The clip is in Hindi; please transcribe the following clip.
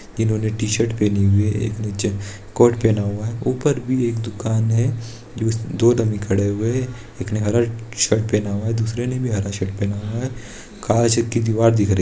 इन्होने टी-शर्ट पहनी हुई है एक निचे कोट पहना हुआ है ऊपर भी एक दूकान है जो दो डमी खड़े हुए हैं एक ने हरा शर्ट पहना हुआ है दूसरे ने भी हरा शर्ट पहना हुआ है काँच की दिवार दिख रही है।